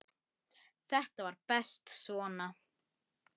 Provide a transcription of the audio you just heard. Þetta var best svona.